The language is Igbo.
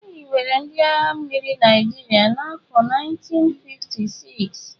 E hiwere ndị agha mmiri Naịjirịa n'afọ 1956.